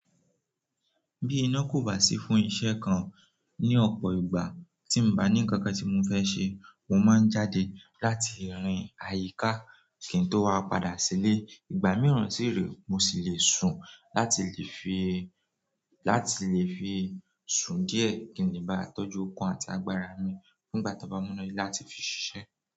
Bí iná kò bá sí fún iṣẹ́ kan ní ọ̀pọ̀ ìgbà tí n bá ní ǹkan kan tí mo fẹ́ ṣe, mo máa ń jáde láti rin àyíká kí n tó wá padà sílé. Ìgbà mìíràn sì rèé, mo sì lè sùn láti lè fi, láti lè fi sùn díẹ̀ kí n lè bá tọ́jú okun àti agbára mi fún ìgbà tan bá múná de láti fi ṣiṣẹ́.